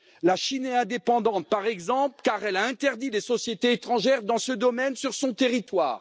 La Chine est indépendante, par exemple, car elle a interdit les sociétés étrangères dans ce domaine sur son territoire.